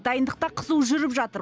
дайындық та қызу жүріп жатыр